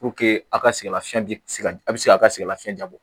a ka sɛgɛn lafiya bi se ka a bi se ka sɛgɛn lafiɲɛ da bɔ